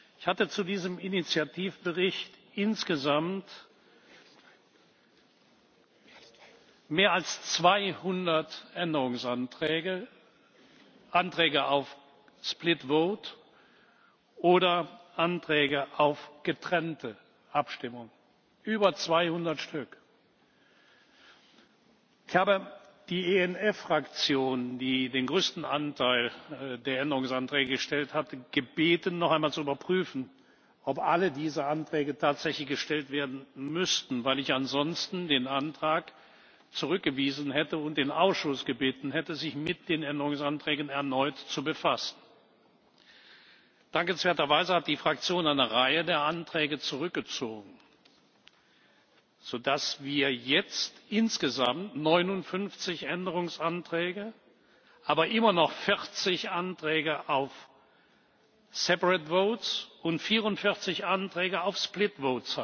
Ich hatte zu diesem Initiativbericht insgesamt mehr als 200 Änderungsanträge, Anträge auf gesonderte Abstimmung oder Anträge auf getrennte Abstimmung über 200 Stück. Ich habe die ENF Fraktion, die den größten Anteil der Änderungsanträge gestellt hatte, gebeten, noch einmal zu überprüfen, ob alle diese Anträge tatsächlich gestellt werden müssten, weil ich ansonsten den Antrag zurückgewiesen hätte und den Ausschuss gebeten hätte, sich mit den Änderungsanträgen erneut zu befassen. Dankenswerterweise hat die Fraktion eine Reihe der Anträge zurückgezogen, so dass wir jetzt insgesamt 59 Änderungsanträge, aber immer noch 40 Anträge auf gesonderte Abstimmung und 44 Änträge auf getrennte